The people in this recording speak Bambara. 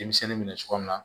Denmisɛnnin minɛ cogo min na